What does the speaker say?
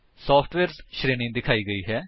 software ਸ਼੍ਰੇਣੀ ਦਿਖਾਈ ਗਈ ਹੈ